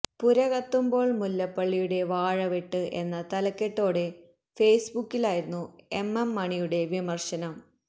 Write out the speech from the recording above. പുര കത്തുമ്പോള് മുല്ലപ്പള്ളിയുടെ വാഴവെട്ട് എന്ന തലക്കെട്ടോടെ ഫേസ്ബുക്കിലായിരുന്നു എം എം മണിയുടെ വിമര്ശനം